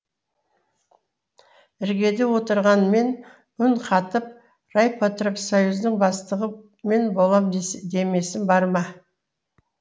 іргеде отырған мен үн қатып райпотребсоюздың бастығы мен болам демесім бар ма